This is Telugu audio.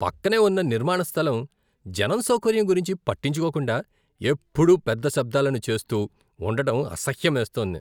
పక్కనే ఉన్న నిర్మాణ స్థలం జనం సౌకర్యం గురించి పట్టించుకోకుండా, ఎప్పుడూ పెద్ద శబ్దాలను చేస్తూ ఉండడం అసహ్యమేస్తోంది.